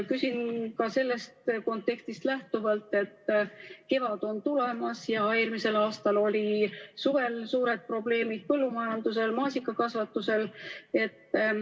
Küsin ka sellest kontekstist lähtuvalt, et kevad on tulemas ja eelmisel aastal olid suvel suured probleemid põllumajanduses, maasikakasvatuses.